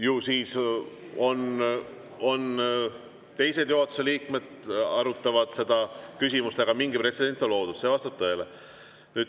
Ju siis teised juhatuse liikmed arutavad seda küsimust, aga mingi pretsedent on loodud, see vastab tõele.